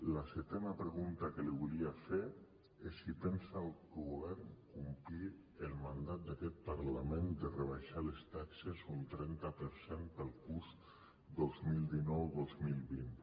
la setena pregunta que li volia fer és si pensa el govern complir el mandat d’aquest parlament de rebaixar les taxes un trenta per cent per al curs dos mil dinou dos mil vint